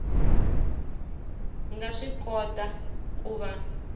nga swi kota ku va